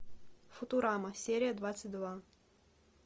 футурама серия двадцать два